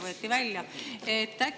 võeti välja.